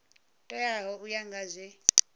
teaho u ya nga zwe